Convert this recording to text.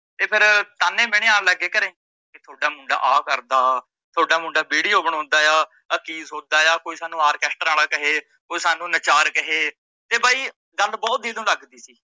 ਤੇ ਫਿਰ ਤਾਨੇ ਮੀਣੇ ਆਨ ਲੱਗ ਗਏ ਘਰੇ, ਕਿ ਤੁਹਾਡਾ ਮੁੰਡਾ ਆ ਕਰਦਾ ਤੁਹਾਡਾ ਮੁੰਡਾ video ਬਣਾਉਂਦਾ ਆ, ਆ ਕੀ ਸੋਦਾ ਆ ਕੋਈ ਸਾਨੂੰ ਆਰਕੇਸਟਰਾ ਆਲੇ ਕਹੇ, ਕੋਈ ਸਾਨੂੰ ਨੱਚਾਰ ਕਹੇ ਤੇ ਬਾਈ ਗੱਲ ਬਹੁਤ ਦਿੱਲ ਨੂੰ ਲੱਗਦੀ ਸੀ।